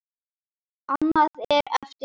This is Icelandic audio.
Annað er eftir því.